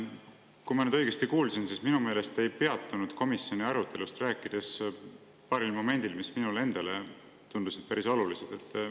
Kui ma nüüd õigesti kuulsin, siis minu meelest ei peatunud te komisjoni arutelust rääkides paaril momendil, mis minule endale tundusid päris olulised.